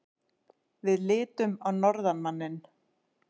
Við litum á norðanmanninn.